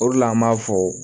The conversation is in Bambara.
O de la an b'a fɔ